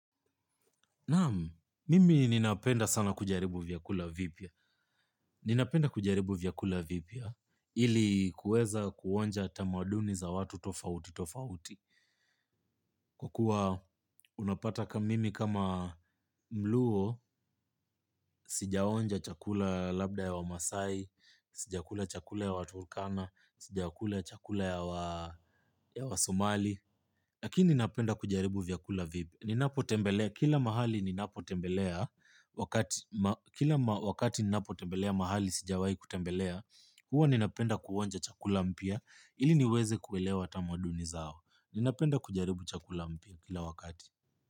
Naam mimi ninapenda sana kujaribu vyakula vipya. Ninapenda kujaribu vyakula vipya ili kuweza kuonja tamaduni za watu tofauti tofauti. Kwa kuwa unapata ka mimi kama mluo, sijaonja chakula labda ya wamasai, sijakula chakula ya waTurkana, sija kula chakula ya waSomali. Lakini ninapenda kujaribu vyakula vipya. Ninapo tembelea, kila mahali ninapo tembelea, kila wakati ninapo tembelea mahali sijawai kutembelea, huwa ninapenda kuonja chakula mpya, ili niweze kuelewa tamaduni zao. Ninapenda kujaribu chakula mpia kila wakati.